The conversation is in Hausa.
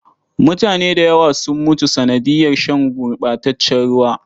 Mutane da yawa sun mutu sanadiyar shan gurɓataccen ruwa.